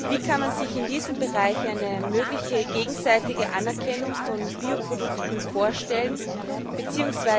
Wie kann man sich in diesem Bereich eine mögliche gegenseitige Anerkennung von Bioprodukten vorstellen, bzw.